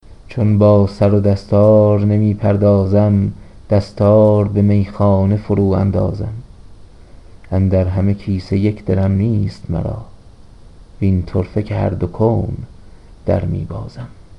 چون با سرو دستار نمیپردازم دستار به میخانه فرو اندازم اندر همه کیسه یک درم نیست مرا وین طرفه که هر دو کون در میبازم